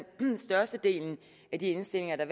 størstedelen af de indstillinger der